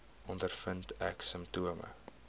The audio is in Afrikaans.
ondervind ek simptome